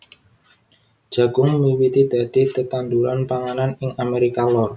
Jagung miwiti dadi tetanduran panganan ing Amérika Lor